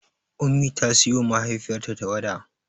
Ummi ta siyowa mahaifiyarta tarwaɗa.